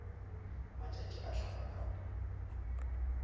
matšatši a hlaba ka go